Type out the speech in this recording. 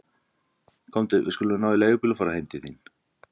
Komdu, við skulum ná í leigubíl og fara heim til þín.